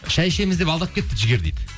шәй ішеміз деп алдап кетті дейді жігер дейді